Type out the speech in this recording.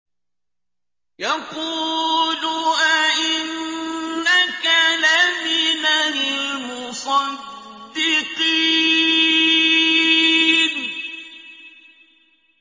يَقُولُ أَإِنَّكَ لَمِنَ الْمُصَدِّقِينَ